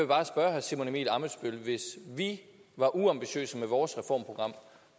bare spørge herre simon emil ammitzbøll hvis vi var uambitiøse med vores reformprogram